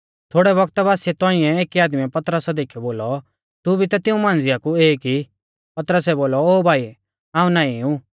थोड़ै बौगता बासिऐ तौंइऐ एकी आदमीऐ पतरसा देखीयौ बोलौ तू भी ता तिऊं मांझ़िया कु ई पतरसै बोलौ ओ भाई हाऊं नाईं ऊ